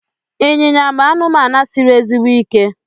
ịnyịnya bụ anụmanụ siri ezigbo ike